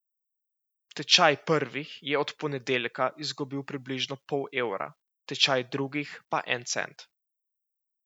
Tečaj prvih je od ponedeljka izgubil približno pol evra, tečaj drugih pa en cent.